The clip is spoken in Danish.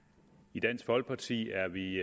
i dansk folkeparti er vi